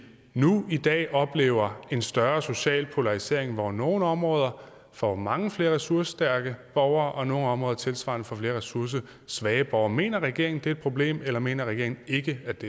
nu i dag oplever en større social polarisering hvor nogle områder får mange flere ressourcestærke borgere og nogle områder tilsvarende får flere ressourcesvage borgere mener regeringen at det er et problem eller mener regeringen ikke at